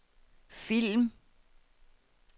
film